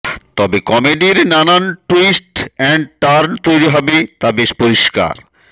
তবে কমেডির নানান ট্যুইস্ট অ্যান্ড টার্ন তৈরি হবে তা বেশ পরিষ্কার